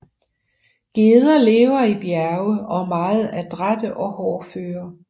Geder lever i bjerge og er meget adrætte og hårdføre